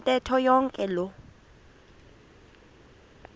ntetho yonke loo